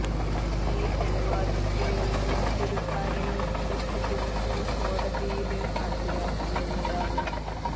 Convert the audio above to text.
ഈ അനുവാദത്തിനുള്ള മറ്റൊരു കാരണം അടുത്ത ദിവസം കോടതിയില് ഹാജരാക്കുമെന്നതാണ്